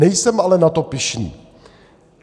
Nejsem ale na to pyšný.